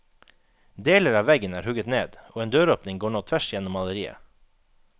Deler av veggen er hugget ned, og en døråpning går nå tvers gjennom maleriet.